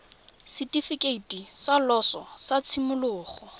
setifikeiti sa loso sa tshimologo